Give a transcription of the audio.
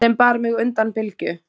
sem bar mig undan bylgju.